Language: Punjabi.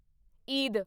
ਈਦ